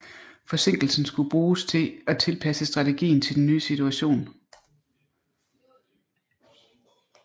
Forsinkelsen skulle bruges til at tilpasse strategien til den nye situation